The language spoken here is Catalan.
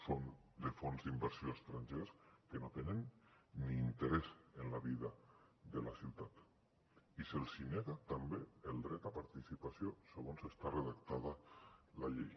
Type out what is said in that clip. són de fons d’inversió estrangers que no tenen ni interès en la vida de la ciutat i se’ls nega també el dret a participació segons està redactada la llei